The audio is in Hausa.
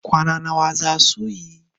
kwana nawa za su yi?